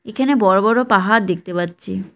এখানে বড় বড় পাহাড় দেখতে পাচ্ছি।